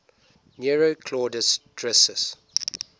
nero claudius drusus